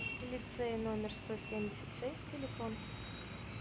лицей номер сто семьдесят шесть телефон